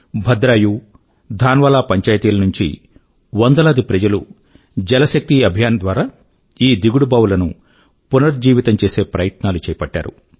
భద్రాయు థాన్వాలా పంచాయితీల నుండి వందలాది ప్రజలు జల్ శక్తి అభియాన్ ద్వారా ఈ దిగుడు బావుల ను పునర్జీవితం చేసే ప్రయత్నాలు చేపట్టారు